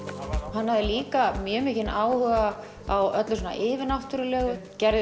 hann hafði líka mjög mikinn áhuga á öllu svona yfirnáttúrulegu gerði